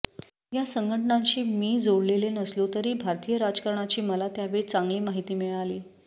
या संघटनांशी मी जोडलेले नसलो तरी भारतीय राजकारणाची मला त्यावेळी चांगली माहिती मिळाली